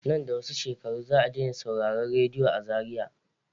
Nan da wasu shekaru za a dai na sauraran radiyo a Zariya.